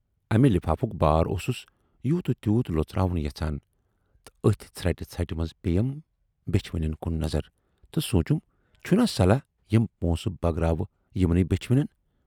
امہِ لِفافُک بار اوسُس یوٗت و تیوٗت لۅژراوُن یَژھان تہٕ ٲتھۍ ژھرٹہِ ژھرٹہِ منز پییَم بیچھِ وٕنٮ۪ن کُن نظر تہٕ سوٗنچُم، چھُناہ صلاح یِم پونسہٕ بٲگراوٕ یِمن بیچھِ وٕنٮ۪ن